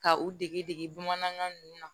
Ka u dege dege bamanankan ninnu na